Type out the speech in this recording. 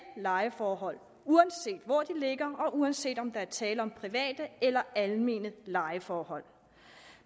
lejeforhold uanset hvor de ligger og uanset om der er tale om private eller almene lejeforhold